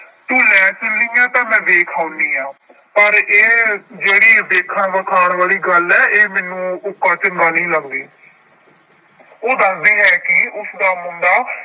ਤੂੰ ਲੈ ਚੱਲੀ ਆਂ ਤਾਂ ਮੈਂ ਵੇਖ ਆਉਂਦੀ ਹਾਂ ਪਰ ਇਹ ਜਿਹੜੀ ਵੇਖਣ ਵਖਾਉਣ ਵਾਲੀ ਗੱਲ ਹੈ ਇਹ ਮੈਨੂੰ ਉੱਕਾ ਚੰਗਾ ਨਹੀਂ ਲੱਗਦੀ ਉਹ ਦੱਸਦੀ ਹੈ ਕਿ ਉਸਦਾ ਮੁੰਡਾ